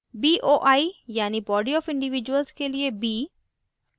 boi यानि body of individuals के लिए b